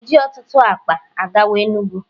a na m eji otutu akpa gawa enugu.